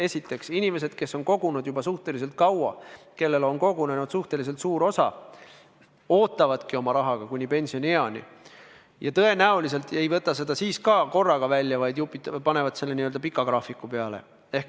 Esiteks, inimesed, kes on kogunud juba suhteliselt kaua, kellel on kogunenud suhteliselt suur summa, ootavadki kuni pensionieani ja tõenäoliselt ei võta seda summat korraga välja, vaid lasevad teha n-ö pika graafiku.